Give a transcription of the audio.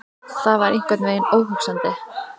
Það var einhvern veginn óhugsandi.